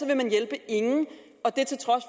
vil man hjælpe ingen og det til trods